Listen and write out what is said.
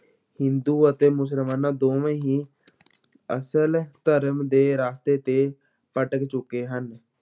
ਹਿੰਦੂ ਅਤੇ ਮੁਸਲਮਾਨਾਂ ਦੋਵੇਂ ਹੀ ਅਸਲ ਧਰਮ ਦੇ ਰਸਤੇ ਤੇ ਭਟਕ ਚੁੱਕੇ ਹਨ।